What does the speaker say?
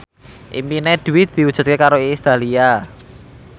impine Dwi diwujudke karo Iis Dahlia